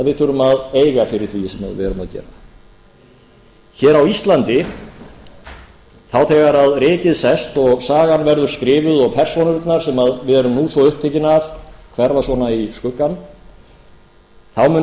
við þurfum að eiga fyrir því sem við erum að gera hér á íslandi þá þegar rykið sest og sagan verður skrifuð og persónurnar sem við erum nú svo upptekin af hverfa í skuggann þá munu